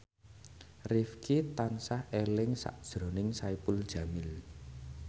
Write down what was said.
Rifqi tansah eling sakjroning Saipul Jamil